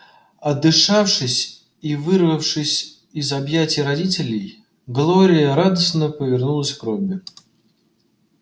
отдышавшись и вырвавшись из объятий родителей глория радостно повернулась к робби